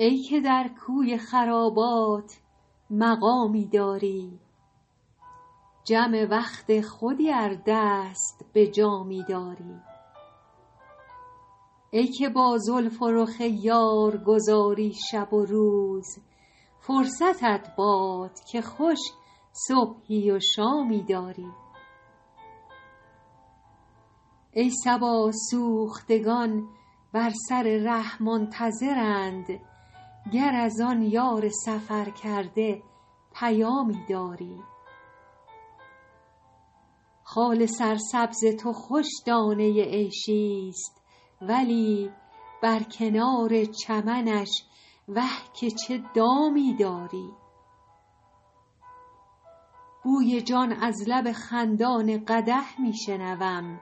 ای که در کوی خرابات مقامی داری جم وقت خودی ار دست به جامی داری ای که با زلف و رخ یار گذاری شب و روز فرصتت باد که خوش صبحی و شامی داری ای صبا سوختگان بر سر ره منتظرند گر از آن یار سفرکرده پیامی داری خال سرسبز تو خوش دانه عیشی ست ولی بر کنار چمنش وه که چه دامی داری بوی جان از لب خندان قدح می شنوم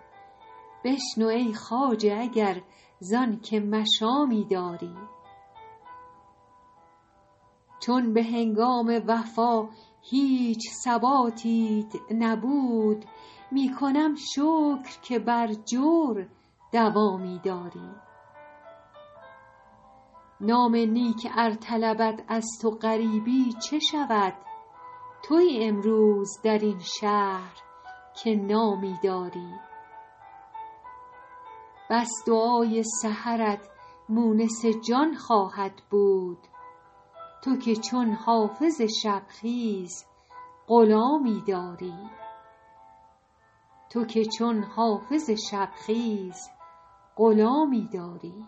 بشنو ای خواجه اگر زان که مشامی داری چون به هنگام وفا هیچ ثباتیت نبود می کنم شکر که بر جور دوامی داری نام نیک ار طلبد از تو غریبی چه شود تویی امروز در این شهر که نامی داری بس دعای سحرت مونس جان خواهد بود تو که چون حافظ شب خیز غلامی داری